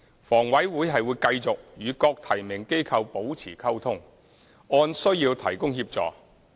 房委會會繼續與各提名機構保持溝通，按需要提供協助。